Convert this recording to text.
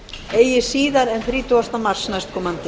eigi síðar en þrítugasta mars næstkomandi